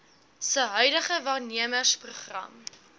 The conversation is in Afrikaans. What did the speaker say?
se huidige waarnemersprogram